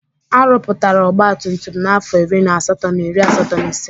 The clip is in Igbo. Arụpụtara ọgba tum tum n'afọ iri na asatọ na iri asatọ na ise.